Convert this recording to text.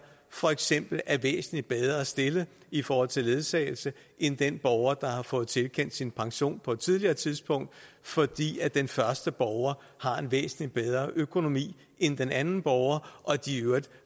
for eksempel er væsentlig bedre stillet i forhold til ledsagelse end den borger der har fået tilkendt sin pension på et tidligere tidspunkt fordi den første borger har en væsentlig bedre økonomi end den anden borger og de